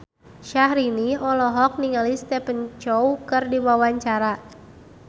Syahrini olohok ningali Stephen Chow keur diwawancara